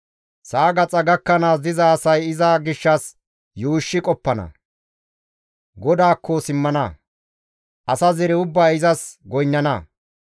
Sa7a gaxa gakkanaas diza asay iza gishshas yuushshi qoppana; GODAAKKO simmana. Asa zere ubbay izas goynnana.